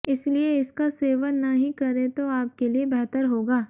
इसलिए इसका सेवन न ही करें तो आपके लिए बेहतर होगा